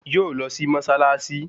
Yóò lọ sí Mọ́ṣáláṣí